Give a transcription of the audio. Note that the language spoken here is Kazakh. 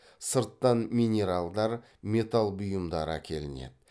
сырттан минералдар металл бұйымдары әкелінеді